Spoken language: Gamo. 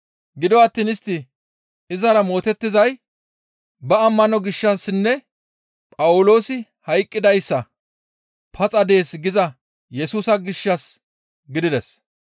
Gido attiin istti izara mootettizay ba ammano gishshassinne Phawuloosi hayqqidayssa, ‹Paxa dees› giza Yesusa gishshas gidides.